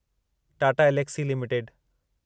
Tata Elxsi limited